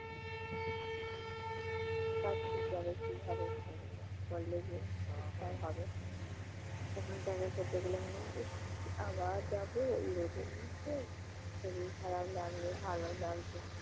কোন কাজ ঠিকভাবে কিভাবে করবো? করলে যে ঠিকঠাক হবে অন্য জায়গায় করতে গেলে মনে হয় ইশ্ আবার যাবে এই রোদের মধ্যে? শরীর খারাপ লাগবে, ভালো লাগছে না।